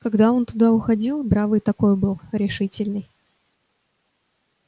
когда он туда уходил бравый такой был решительный